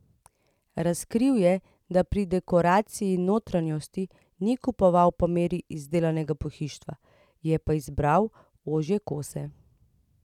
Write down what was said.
Razkril je, da pri dekoraciji notranjosti ni kupoval po meri izdelanega pohištva, je pa izbiral ožje kose.